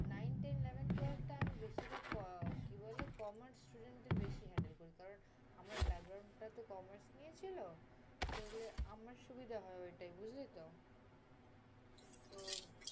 nine, ten, eleven, twelve টা আমি বেশিভাগ করাই। কি বললি, commerce student দের বেশি handle করি। কারণ, আমার টা তো commerce নিয়ে ছিলো। তাইলে আমার সুবিধা হয় ঐটায় বুঝলিতো? তো